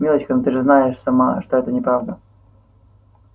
милочка но ты же знаешь сама что это неправда